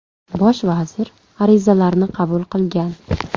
Bosh vazir arizalarni qabul qilgan.